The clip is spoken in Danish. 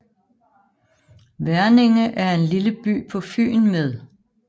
Verninge er en lille by på Fyn med